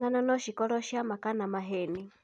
Ng'ano no cikorwo cia ma kana maheni.